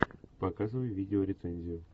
показывай видео рецензию